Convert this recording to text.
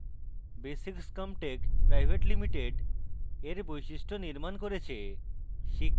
basics comtech pvt ltd এর বৈশিষ্ট নির্মান করেছে